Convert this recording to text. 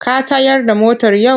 Ka tayar da motar yau?